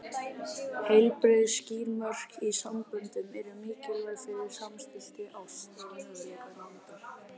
Heilbrigð, skýr mörk í samböndum eru mikilvæg fyrir samstillta ást og möguleika nándar.